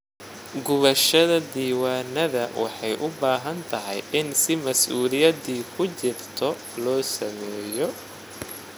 Gubashada diiwaanada waxay u baahan tahay in si masuuliyadi ku jirto loo sameeyo.